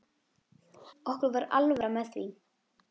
Okkur var alvara með því.